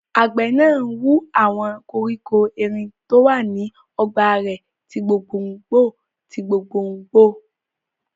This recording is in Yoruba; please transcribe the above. Àgbẹ̀ náà hu àwọn koríko erin tó wà ní ọgbà rẹ̀ ti gbòngbò tí gbòngbò